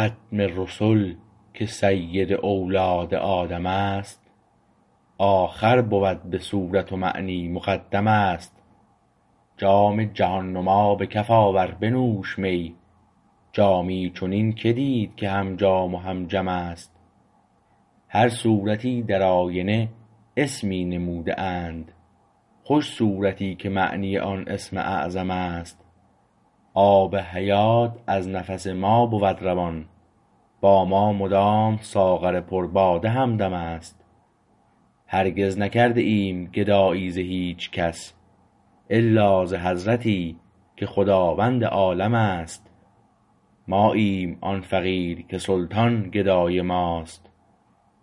ختم رسل که سید اولاد آدم است آخر بود به صورت و معنی مقدم است جام جهان نما به کف آور بنوش می جامی چنین که دید که هم جام و هم جم است هر صورتی در آینه اسمی نموده اند خوش صورتی که معنی آن اسم اعظم است آب حیات از نفس ما بود روان با ما مدام ساغر پر باده همدم است هرگز نکرده ایم گدایی ز هیچ کس الا ز حضرتی که خداوند عالم است ماییم آن فقیر که سلطان گدای ماست